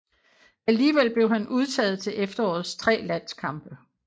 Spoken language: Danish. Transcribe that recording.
Alligevel blev han udtaget til efterårets tre landskampe